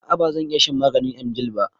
A'a bazan iya shan maganin emgyl ba.